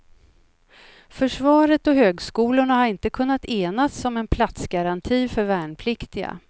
Försvaret och högskolorna har inte kunnat enas om en platsgaranti för värnpliktiga.